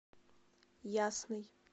ясный